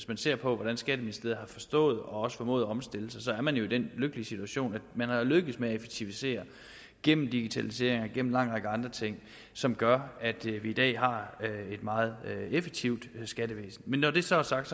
man ser på hvordan skatteministeriet har forstået og også formået at omstille sig at man jo er i den lykkelige situation at man er lykkedes med at effektivisere gennem digitalisering og en lang række andre ting som gør at vi i dag har et meget effektivt skattevæsen men når det så er sagt